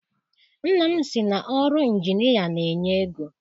Nna m sị na ọrụ injinịa na-enye ego.